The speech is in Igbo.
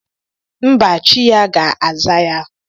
Mba, chi ya ga-aza ya.